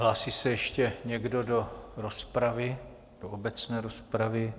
Hlásí se ještě někdo do rozpravy, do obecné rozpravy?